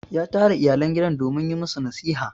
ya tara iyalan gidan don yi musu nasiha